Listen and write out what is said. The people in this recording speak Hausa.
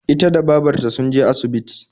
Ita da babarta sunje asibiti